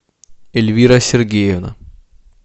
эльвира сергеевна